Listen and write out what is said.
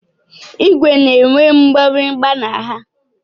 Igwe na-enwe mgbịrịgba na ha.